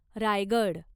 Raigad